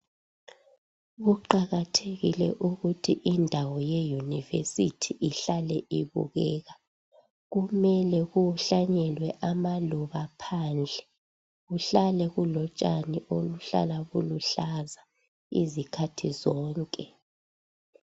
Kuqakathekile ukuthi indawo yeyunivesithi ihlale ibukeka. Kumele kuhlanyelwe amaluba phandle. Kuhlale kulotshane oluhlala luluhlaza izikhathi zonke.